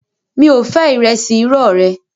Mi ò fẹ́ ìrẹsì irọ́ rẹ